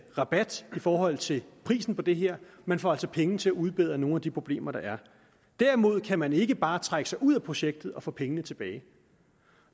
rabat i forhold til prisen på det her man får altså penge til at udbedre nogle af de problemer der er derimod kan man ikke bare trække sig ud af projektet og få pengene tilbage